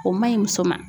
O man ɲi muso ma